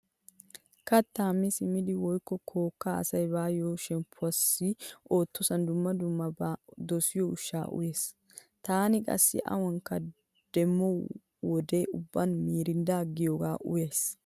Kattaa mi simmidi woykko kookkaa asa bayo shemppuwaassi uttosan dumma dumma ba dosiyo ushshaa uyees. Taani qassi awanikka demmo wode ubban "mirindaa" giyoogaa uyays.